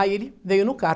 Aí ele veio no carro.